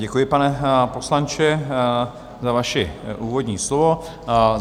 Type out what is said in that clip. Děkuji, pane poslanče, za vaše úvodní slovo.